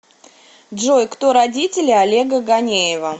джой кто родители олега ганеева